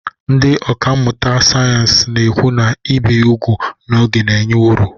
Ndị ọkà mmụta sayensị na-ekwu na ibi úgwù n'oge na-enye uru